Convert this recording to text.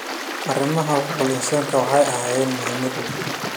Arrimaha xuquuqul insaanka waxay ahaayeen muhimad weyn.